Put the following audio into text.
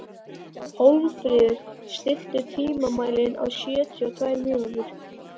Hólmfríður, stilltu tímamælinn á sjötíu og tvær mínútur.